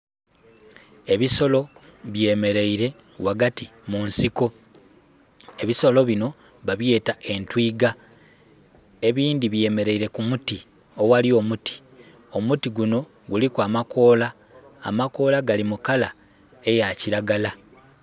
Ebisolo byemeleire ghagati mu nsiko. Ebisolo binho ba byeta entwiga, ebindhi byemeleire ku muti, aghali omuti. Omuti gunho guliku amakoola, amakoola gali mu kala eya kiragala.